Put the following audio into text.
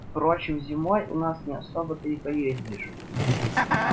впрочем зимой у нас не особо-то и поездишь